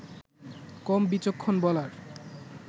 কম বিচক্ষণ বলার